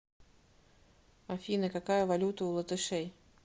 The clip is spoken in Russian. афина какая валюта у латышей